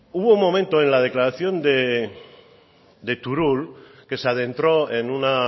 hubo un momento en la declaración de turull que se adentró en una